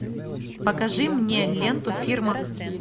покажи мне ленту фирма